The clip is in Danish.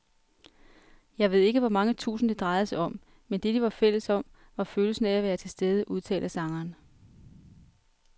Jeg ved ikke hvor mange tusind, det drejede sig om, men det, de var fælles om, var følelsen af at være tilstede, udtaler sangeren.